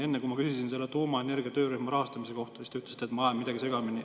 Enne, kui ma küsisin tuumaenergia töörühma rahastamise kohta, siis te ütlesite, et ma ajan midagi segamini.